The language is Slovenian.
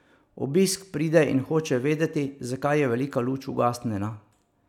Obisk pride in hoče vedeti, zakaj je velika luč ugasnjena.